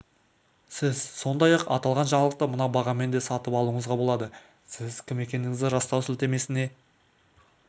сіз сондай-ақ аталған жаңалықты мына бағамен де сатып алуыңызға болады сіз кім екендігіңізді растау сілтемесіне